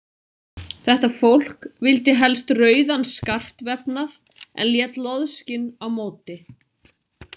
Þetta fólk vildi helst rauðan skartvefnað en lét loðskinn á móti.